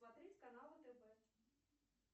смотреть каналы тв